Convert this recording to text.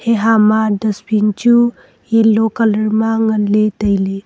heha ma dustbin chu yellow colour ma nganley tailey.